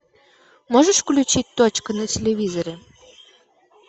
можешь включить точка на телевизоре